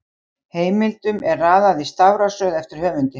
Heimildum er raðað í stafrófsröð eftir höfundi.